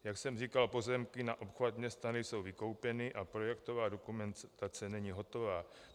Jak jsem říkal, pozemky na obchvat města nejsou vykoupeny a projektová dokumentace není hotová.